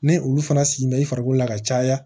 Ni olu fana sigi bɛ i farikolo la ka caya